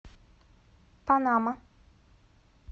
панама